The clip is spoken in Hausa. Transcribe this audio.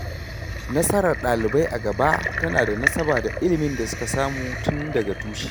Nasarar ɗalibai a gaba tana da nasaba da ilimin da suka samu tun daga tushe.